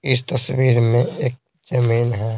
इस तस्वीर में एक जमीन है।